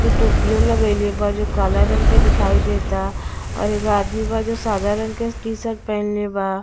जो टोपियो लगइले बा जो काला रंग के दिखाई देता और एगो आदमी ब जे सदा रंग के टी-सट पहिनले बा--